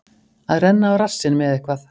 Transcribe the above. Að renna á rassinn með eitthvað